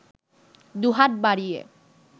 দুহাত বাড়িয়ে